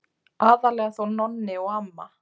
Aðallega þó Nonni og amma.